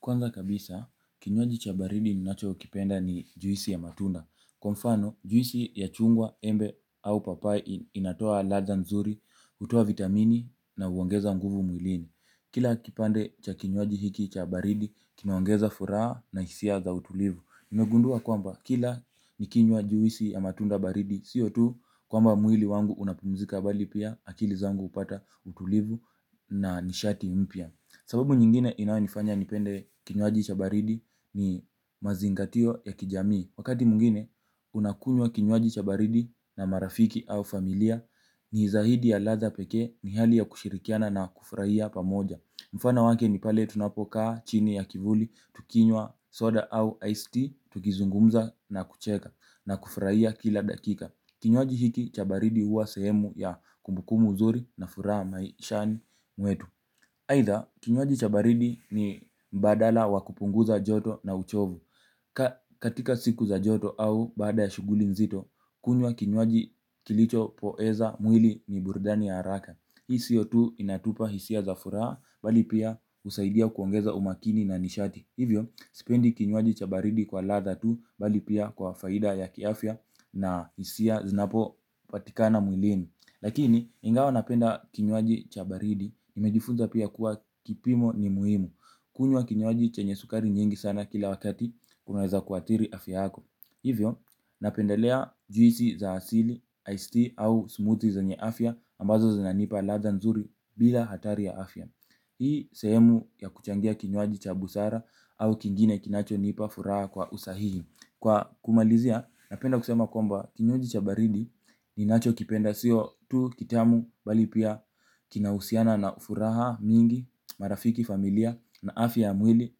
Kwanza kabisa, kinywaji cha baridi ninachokipenda ni juisi ya matunda. Kwa mfano, juisi ya chungwa, embe au papai inatoa ladha nzuri, hutoa vitamini na huongeza nguvu mwilini. Kila kipande cha kinywaji hiki cha baridi, kinaongeza furaha na hisia za utulivu. Nimegundua kwamba kila nikinywa juisi ya matunda baridi, sio tu kwamba mwili wangu unapumzika bali pia akili zangu hupata utulivu na nishati mpya. Sababu nyingine inayonifanya nipende kinywaji cha baridi ni mazingatio ya kijamii. Wakati mwingine unakunywa kinywaji cha baridi na marafiki au familia ni zaidi ya ladha pekee ni hali ya kushirikiana na kufurahia pamoja mfano wake ni pale tunapokaa chini ya kivuli tukinywa soda au iced tea tukizungumza na kucheka na kufurahia kila dakika kinywaji hiki cha baridi huwa sehemu ya kumbukumbu nzuri na furaha maishani mwetu aidha, kinywaji cha baridi ni mbadala wa kupunguza joto na uchovu. Katika siku za joto au baada ya shughuli nzito, kunywa kinywaji kilichopoeza mwili ni burudani ya haraka. Hii sio tu inatupa hisia za furaha bali pia husaidia kuongeza umakini na nishati. Hivyo, sipendi kinywaji cha baridi kwa ladha tu bali pia kwa faida ya kiafya na hisia zinapopatikana mwilini. Lakini ingawa napenda kinywaji cha baridi nimejifunza kuwa kipimo ni muhimu kunywa kinywaji chenye sukari nyingi kila wakati inaweza kuathiri afya yako hivyo napendelea juisi za asili iced tea au smoothie zenye afya ambazo zinanipa afya nzuri hii sehemu ya kuchangia kinywaji cha busara au kingine kinachonipa furaha kwa usahihi. Kwa kumalizia, napenda kusema kwamba kinywaji cha baridi ninachokipenda sio tu kitamu bali pia kinahusiana na furaha mingi, marafiki familia na afya ya mwili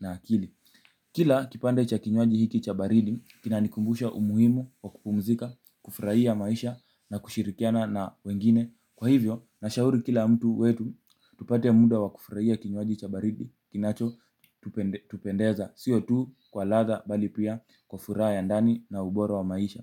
na akili. Kila kipande cha kinywaji hiki cha baridi, kinanikumbusha umuhimu wa kupumzika, kufurahia maisha na kushirikiana na wengine. Kwa hivyo, nashauri kila mtu wetu, tupate muda wa kufurahia kinywaji cha baridi, kinachotupendeza. Sio tu kwa ladha bali pia kwa furaha ya ndani na ubora wa maisha.